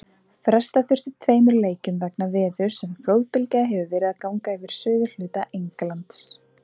Fresta þurfti tveimur leikjum vegna veðurs en flóðbylgja hefur verið að ganga yfir suðurhluta Englands.